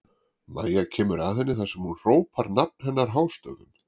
Mæja kemur að henni þar sem hún hrópar nafn hennar hástöfum.